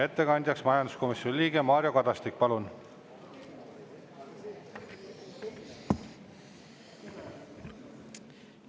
Ettekandjaks majanduskomisjoni liige Mario Kadastik, palun!